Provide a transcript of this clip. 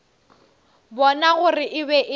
bona gore e be e